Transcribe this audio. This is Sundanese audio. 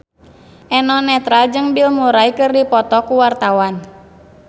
Eno Netral jeung Bill Murray keur dipoto ku wartawan